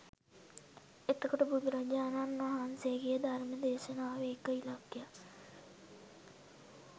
එතකොට බුදුරජාණන් වහන්සේගේ ධර්ම දේශනාවේ එක ඉලක්කයක්